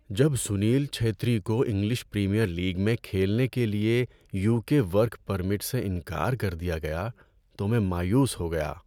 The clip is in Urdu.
جب سنیل چھیتری کو انگلش پریمیئر لیگ میں کھیلنے کے لیے یوکے ورک پرمٹ سے انکار کر دیا گیا تو میں مایوس ہو گیا۔